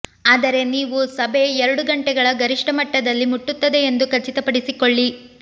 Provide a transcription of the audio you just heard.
ಆದರೆ ನೀವು ಸಭೆ ಎರಡು ಗಂಟೆಗಳ ಗರಿಷ್ಟ ಮಟ್ಟದಲ್ಲಿ ಮುಟ್ಟುತ್ತದೆ ಎಂದು ಖಚಿತಪಡಿಸಿಕೊಳ್ಳಿ